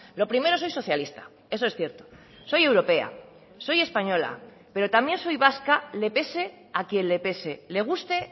lo primero soy socialista eso es cierto soy europea soy española pero también soy vasca le pese a quien le pese le guste